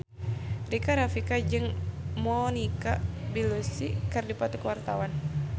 Rika Rafika jeung Monica Belluci keur dipoto ku wartawan